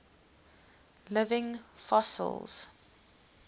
living fossils